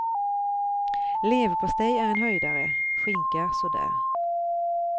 Leverpastej är en höjdare, skinka så där.